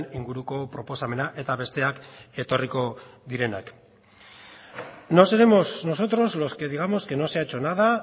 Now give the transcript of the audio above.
inguruko proposamena eta besteak etorriko direnak no seremos nosotros los que digamos que no se ha hecho nada